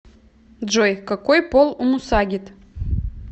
джой какой пол у мусагет